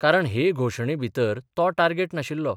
कारण हे घोशणे भितर तो टार्गेट नाशिल्लो.